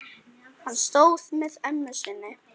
Hann stóð með ömmu sinni.